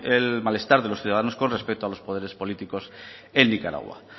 el malestar de los ciudadanos con respeto a los poderes políticos en nicaragua